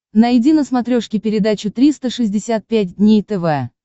найди на смотрешке передачу триста шестьдесят пять дней тв